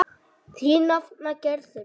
Þín nafna Gerður.